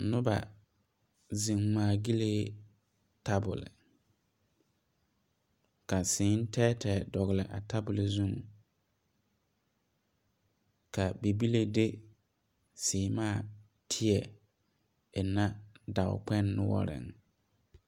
Nuba zeng ngmaa gyilee tabol ka sii tɛɛ tɛɛ a dɔgli a tabol zu ka bibile de seɛmaã teɛ engna doɔ kpeng noɔring.